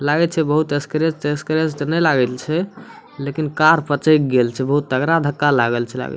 लागे छै बहुत स्क्रैच तेस्क्रेच ते ने लागल छै लेकिन कार पचेएक गेल छै बहुत तगड़ा धक्का लागल छै लागे --